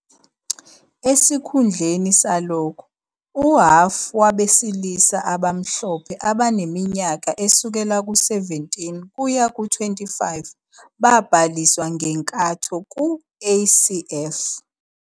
Esikhundleni salokho, uhhafu wabesilisa abamhlophe abaneminyaka esukela ku-17 kuya ku-25 babhaliswa ngenkatho ku-ACF.